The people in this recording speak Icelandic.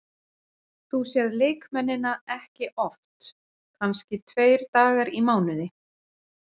Þú sérð leikmennina ekki oft, kannski tveir dagar í mánuði.